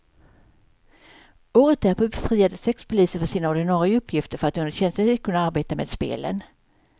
Året därpå befriades sex poliser från sina ordinare uppgifter för att under tjänstetid kunna arbeta med spelen.